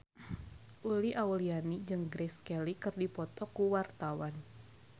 Uli Auliani jeung Grace Kelly keur dipoto ku wartawan